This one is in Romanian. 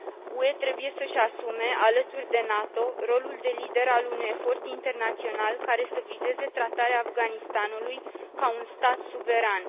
UE trebuie să își asume, alături de NATO, rolul de lider al unui efort internațional care să vizeze tratarea Afganistanului ca un stat suveran.